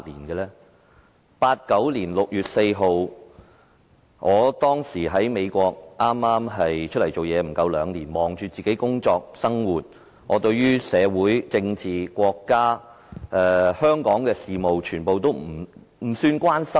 1989年6月4日，我當時在美國剛剛投身社會不足兩年，忙着自己的工作和生活，對於社會、政治、國家和香港的事務都不大關心。